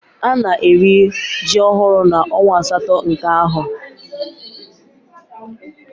Ana eri ji ohuru na onwa asato nke aho